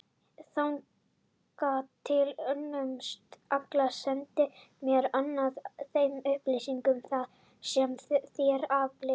Þangað til önnumst við allar sendingar, meðal annars á þeim upplýsingum sem þér aflið.